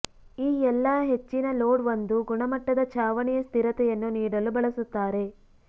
ಈ ಎಲ್ಲಾ ಹೆಚ್ಚಿನ ಲೋಡ್ ಒಂದು ಗುಣಮಟ್ಟದ ಛಾವಣಿಯ ಸ್ಥಿರತೆಯನ್ನು ನೀಡಲು ಬಳಸುತ್ತಾರೆ